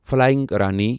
flying Rani